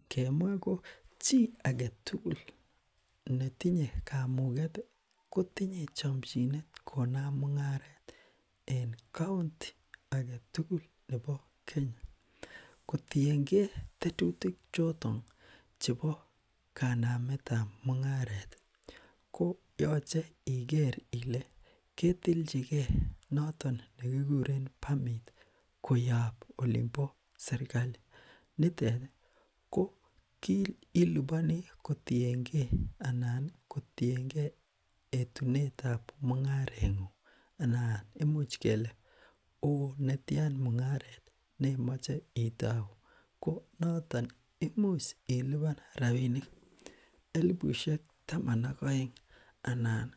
Ingemwa ko chi agetugul netinye kamuget ih kotinye chamchinet konam mung'aret en county agetugul nebo kenya, kotienge tetutik choton chebo kanametab Mung'aret ih, koyache igere Ile aketilchi Kee noton nekikuren permit ih koyab olimbo serkali nitet ih, ko ilubani kotienge etunetab mung'aret ng'ung, anan imuch kele oh netian mung'aret neimache itao, konaton ih imuche iluban elibusiek taman ak aeng anan